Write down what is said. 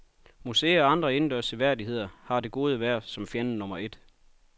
Museer og andre indendørs seværdigheder har det gode vejr som fjende nummer et.